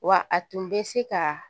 Wa a tun bɛ se ka